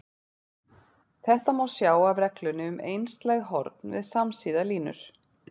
Þetta má sjá af reglunni um einslæg horn við samsíða línur.